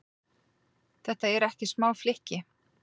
Þetta eru ekki smá flykki?